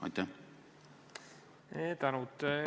Tänud!